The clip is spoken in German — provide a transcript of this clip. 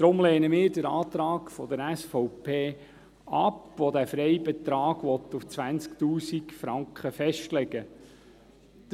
Deshalb lehnen wir den Antrag der SVP ab, welcher diesen Freibetrag bei 20 000 Franken festlegen will.